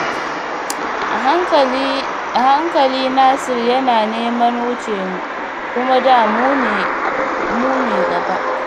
A hankali Nasir yana neman wuce mu, kuma da mu ne gaba